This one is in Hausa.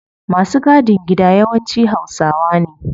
Masu gadin gida yawanci hausawa ne